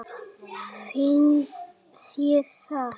Finnst þér það?